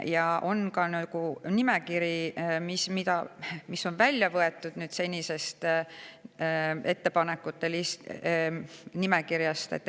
Ja on ka loetelu, mis on seni kehtinud nimekirjast välja võetud.